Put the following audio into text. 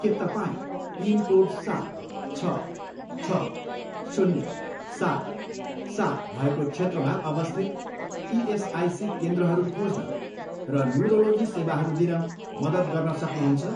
के तपाईँँ पिनकोड सात, छ, छ, शून्य, सात, सात भएको क्षेत्रमा अवस्थित इएसआइसी केन्द्रहरू खोज्न र न्युरोलोजी सेवाहरू दिन मद्दत गर्न सक्नुहुन्छ?